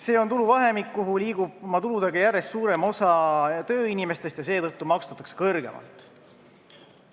See on tuluvahemik, kuhu liigub oma tuludega järjest suurem osa tööinimesi, keda seetõttu maksustatakse kõrgemalt.